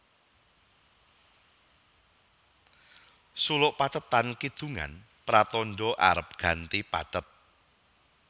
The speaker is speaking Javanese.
Suluk pathetan kidungan pratandha arep ganti pathet